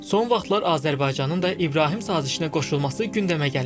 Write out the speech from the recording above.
Son vaxtlar Azərbaycanın da İbrahim sazişinə qoşulması gündəmə gəlib.